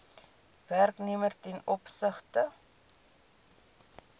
werknemer ten opsigte